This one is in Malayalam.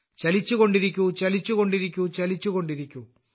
ചലിച്ചു കൊണ്ടിരിക്കൂ ചലിച്ചു കൊണ്ടിരിക്കൂ ചലിച്ചു കൊണ്ടിരിക്കൂ